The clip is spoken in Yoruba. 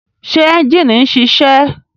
Ṣé ẹ́njìnì ń ṣiṣẹ́?